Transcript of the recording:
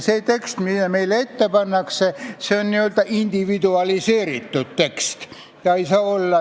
See tekst, mis meile ette pannakse, on n-ö individualiseeritud tekst.